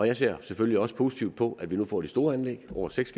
jeg ser selvfølgelig også positivt på at vi nu får de store anlæg over seks